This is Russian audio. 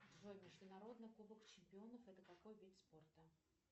джой международный кубок чемпионов это какой вид спорта